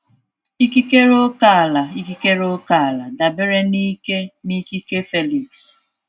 Ikikere ókèala Ikikere ókèala dabere n'ike na ikike Felix.